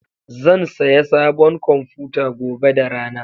Zan saya sabon kwamfuta gobe da rana.